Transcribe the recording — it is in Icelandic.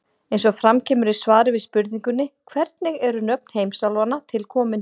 Eins og fram kemur í svari við spurningunni Hvernig eru nöfn heimsálfanna til komin?